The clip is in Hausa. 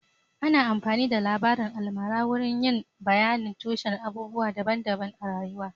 Ana amfani da labarin almara wurin yin bayanin tushen abubuwa daban-daban a rayuwa